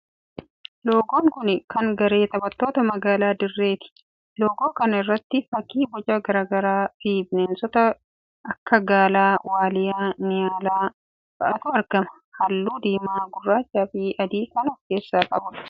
Loogon kuni kan garee taphattoota magaalaa Dirree ti. Loogoo kana irratti fakkii boca garagaraa fii bineensota akka Gaalaa, Waaliyyaa, Niyaalaa fa'atu argama. Halluu diimaa gurraacha fi adii kan of keessaa qabuudha.